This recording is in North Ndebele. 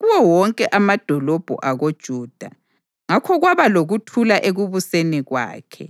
kuwo wonke amadolobho akoJuda, ngakho kwaba lokuthula ekubuseni kwakhe.